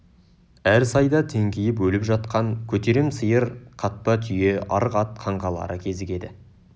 әр сайда теңкиіп өліп жатқан көтерем сиыр қатпа түйе арық ат қаңқалары кезігеді